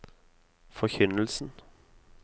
forkynnelsen